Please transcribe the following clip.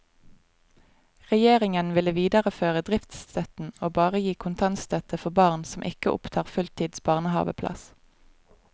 Regjeringen ville videreføre driftsstøtten og bare gi kontantstøtte for barns som ikke opptar fulltids barnehaveplass.